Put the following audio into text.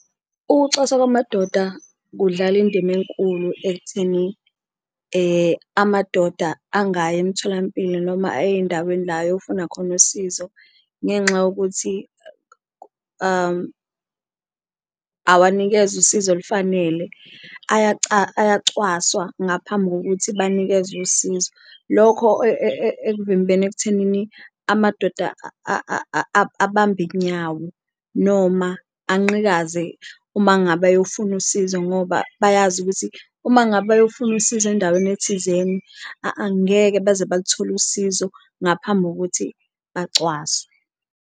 Ukucwaswa kwamadoda kudlala indima enkulu ekutheni amadoda angayi emtholampilo noma ey'ndaweni la ayofuna khona usizo ngenxa yokuthi awanikezwa usizo olufanele, ayacwaswa ngaphambi kokuthi banikezwe usizo. Lokho ekuvimbeni ekuthenini amadoda abambe inyawo noma anqikaze uma ngabe ayofuna usizo ngoba bayazi ukuthi uma ngabe bayofuna usizo endaweni ethizeni angeke baze baluthole usizo ngaphambi kokuthi bacwaswe.